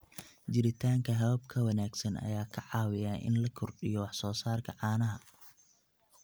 Jiritaanka habab ka wanaagsan ayaa ka caawiya in la kordhiyo wax soo saarka caanaha.